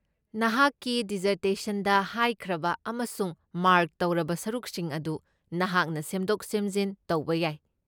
ꯅꯍꯥꯛꯀꯤ ꯗꯤꯖꯔꯇꯦꯁꯟꯗ ꯍꯥꯏꯈ꯭ꯔꯕ ꯑꯃꯁꯨꯡ ꯃꯥ꯭ꯔꯛ ꯇꯧꯔꯕ ꯁꯔꯨꯛꯁꯤꯡ ꯑꯗꯨ ꯅꯍꯥꯛꯅ ꯁꯦꯝꯗꯣꯛ ꯁꯦꯝꯖꯤꯟ ꯇꯧꯕ ꯌꯥꯏ꯫